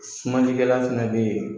Sumanikɛlan fana bɛ yen.